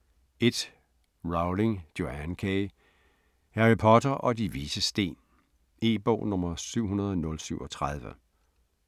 1. Rowling, Joanne K.: Harry Potter og De Vises Sten E-bog 700037